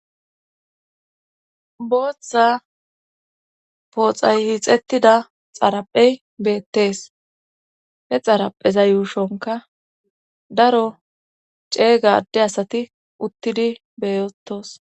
booththa pooxay hixettida xaraphey beettees he xarapheza yuushonka daro ceeygade asati uttidi beyotos